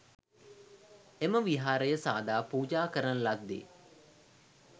එම විහාරය සාදා පූජා කරන ලද්දේ